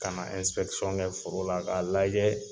Ka na ɛnsipɛkisɔn kɛ foro la k'a lajɛ